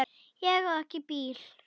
Ég á ekki bíl.